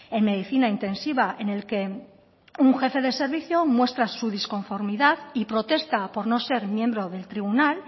en medicina intensiva en el que un jefe de servicio muestra su disconformidad y protesta por no ser miembro del tribunal